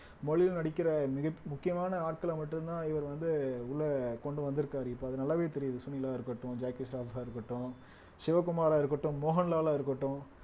மொழியிலும் நடிக்கிற மிக முக்கியமான ஆட்களை மட்டும்தான் இவர் வந்து உள்ள கொண்டு வந்திருக்காரு இப்ப அது நல்லாவே தெரியுது சுனிலா இருக்கட்டும் ஜாக்கி இருக்கட்டும் சிவகுமாரா இருக்கட்டும் மோகன்லால் இருக்கட்டும்